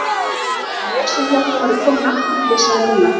Og ég sem hélt að þú værir kominn aftur flissaði Milla.